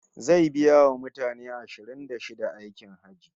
Zai biya wa mutane ashirin da shida aikin Hajji